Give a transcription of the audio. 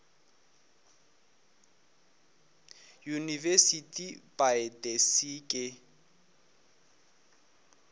university by the sea ke